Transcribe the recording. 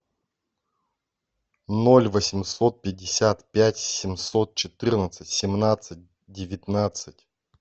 ноль восемьсот пятьдесят пять семьсот четырнадцать семнадцать девятнадцать